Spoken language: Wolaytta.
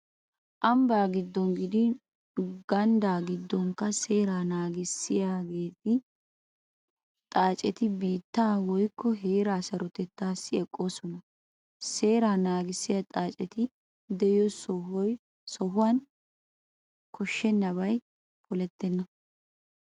Ambbaa giddon gidin ganddaa giddonkka seeraa naagissiya xaaceti biittaa woykko heeraa sarotettaassi eqqoosona. Seeàraa naagissiya xaaceti de'iyo sohuwan koshshennabay polettenna.